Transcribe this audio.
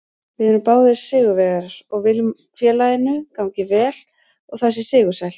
Við erum báðir sigurvegarar og viljum að félaginu gangi vel og það sé sigursælt.